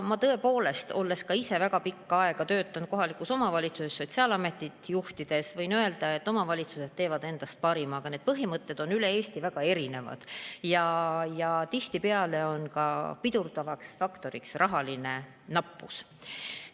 Ma tõepoolest, olles väga pikka aega töötanud kohalikus omavalitsuses sotsiaalametit juhtides, võin öelda, et omavalitsused annavad endast parima, aga need põhimõtted on üle Eesti väga erinevad ja tihtipeale on pidurdavaks faktoriks rahanappus.